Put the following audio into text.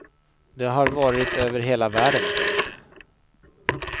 De har varit över hela världen. punkt